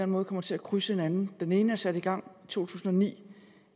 måde kommer til at krydse hinanden den ene er sat i gang i tusind og ni